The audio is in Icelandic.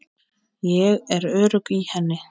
Ég er örugg í henni.